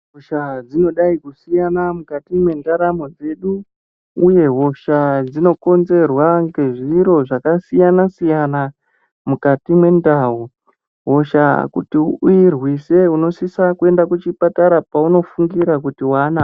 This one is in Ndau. Hosha dzinodai kusiyana mukati mwendaramo dzedu, uye hosha dzinokonzerwa ngezviro zvakasiyana-siyana, mukati mendau. Hosha kuti uirwise unosisa kuenda kuchipatara paunofungira kuti wanayo.